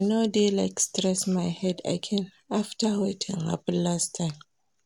I no dey like stress my head again after wetin happen last time